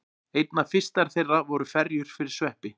Einna fyrstar þeirra voru ferjur fyrir sveppi.